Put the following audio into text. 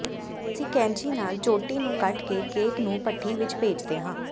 ਅਸੀਂ ਕੈਚੀ ਨਾਲ ਚੋਟੀ ਨੂੰ ਕੱਟ ਕੇ ਕੇਕ ਨੂੰ ਭਠੀ ਵਿਚ ਭੇਜਦੇ ਹਾਂ